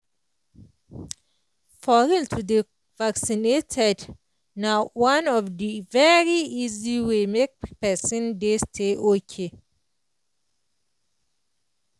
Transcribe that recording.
for real to dey vaccinated na one of the very easy way way make pesin dey stay ok